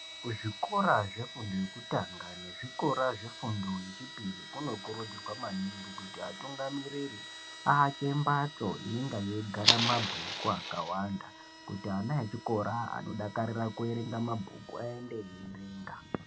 Kuzvikora zvefundo yekutanga nezvikora zvefundo yechipiri kunokurudzirwa maningi kuti atungamiriri avake mbatso inenge yeigara mabhuku akawanda. Kuti ana echikora anodakarira kuverenga mabhuku ayende eierenga.